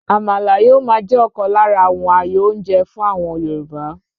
Àmàlà yóò máa jẹ́ ọ̀kan lára àwọn àyò oúnjẹ fún àwọn Yorùbá.